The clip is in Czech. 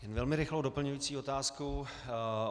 Velmi rychlou doplňující otázku.